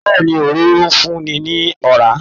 Bẹ́ẹ̀ni, Òróró ń fún ni ní ọ̀rá.